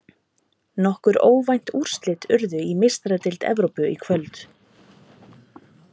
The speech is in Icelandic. Nokkur óvænt úrslit urðu í Meistaradeild Evrópu í kvöld.